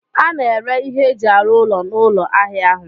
A na-ere ihe eji arụ ụlọ n'ụlọ ahịa ahụ